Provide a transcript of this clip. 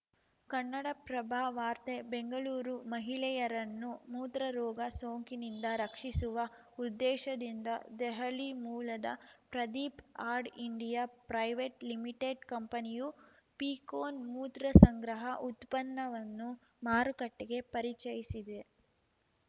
ಕನ್ನಡಪ್ರಭ ವಾರ್ತೆ ಬೆಂಗಳೂರು ಮಹಿಳೆಯರನ್ನು ಮೂತ್ರರೋಗ ಸೋಂಕಿನಿಂದ ರಕ್ಷಿಸುವ ಉದ್ದೇಶದಿಂದ ದೆಹಲಿ ಮೂಲದ Pradeep ad India private limited ಕಂಪನಿಯು ಪೀಕೋನ್‌ ಮೂತ್ರ ಸಂಗ್ರಹ ಉತ್ಪನ್ನವನ್ನು ಮಾರುಕಟ್ಟೆಗೆ ಪರಿಚಯಿಸಿದೆ